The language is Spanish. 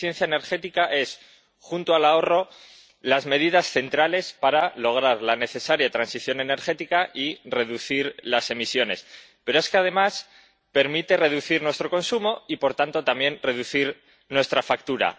La eficiencia energética es, junto al ahorro, una de las medidas centrales para lograr la necesaria transición energética y reducir las emisiones, pero es que, además, permite reducir nuestro consumo y, por tanto, también reducir nuestra factura.